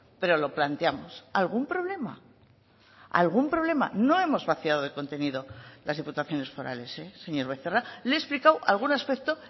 pero lo planteamos algún problema algún problema no hemos vaciado de contenido las diputaciones forales señor becerra le he explicado algún aspecto